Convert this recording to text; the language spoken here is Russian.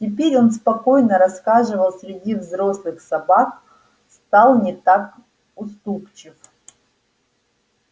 теперь он спокойно расхаживал среди взрослых собак стал не так уступчив